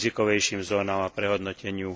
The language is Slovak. rizikovejším zónam a prehodnoteniu.